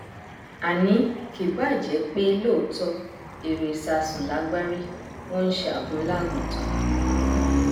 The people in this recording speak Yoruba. àní kì báà jẹpé lóòótọ èrò ìsásùn lagbárí wọn nṣẹ àgunlá àgùntàn